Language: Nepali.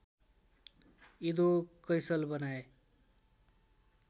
इदो कैसल बनाए